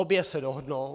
Obě se dohodnou.